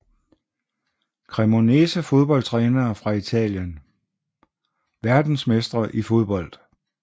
Cremonese Fodboldtrænere fra Italien Verdensmestre i fodbold